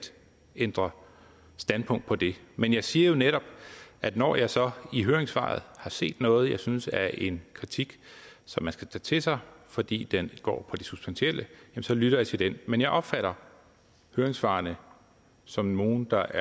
ændre standpunkt på det men jeg siger jo netop at når jeg så i høringssvaret har set noget jeg synes er en kritik som man skal tage til sig fordi den går på det substantielle så lytter jeg til den men jeg opfatter høringssvarene som nogle der